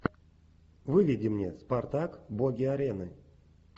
выведи мне спартак боги арены